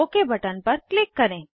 okay button पर click करें